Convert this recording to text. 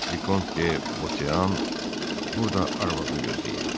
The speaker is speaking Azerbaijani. Vikont De Bausean burada arvadını gözləyirdi.